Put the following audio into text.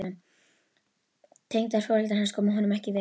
Tengdaforeldrar hans komu honum ekki við.